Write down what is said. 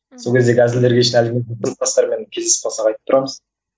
сол кездегі әзілдерге кездесіп қалсақ айтып тұрамыз